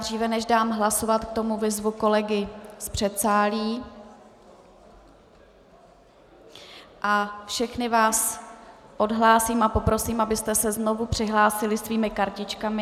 Dříve než dám hlasovat k tomu vyzvu kolegy z předsálí a všechny vás odhlásím a poprosím, abyste se znovu přihlásili svými kartičkami.